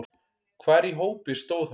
Hvar í hópi stóð hann?